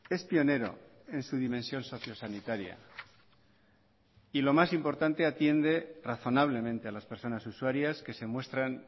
es pionero en su dimensión socio sanitaria y lo más importante atiende razonablemente a las personas usuarias que se muestran